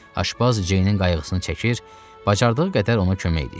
Aşpaz Ceynin qayğısını çəkir, bacardığı qədər ona kömək edirdi.